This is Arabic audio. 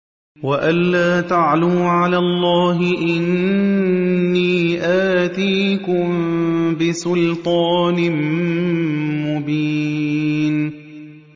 وَأَن لَّا تَعْلُوا عَلَى اللَّهِ ۖ إِنِّي آتِيكُم بِسُلْطَانٍ مُّبِينٍ